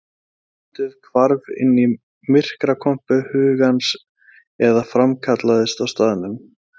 Landið hvarf inn í myrkrakompu hugans eða framkallaðist á staðnum.